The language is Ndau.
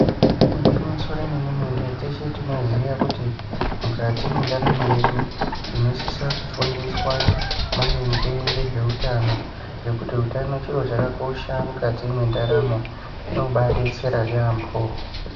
Igwinyiso remene-mene teshe tinoziya kuti mukati mwendaramo yedu tinosisa kufundiswa maringe ngezveutano ngekuti utano chiro chakakosha mukati mwendaramo, chinobaa detsera yaambo.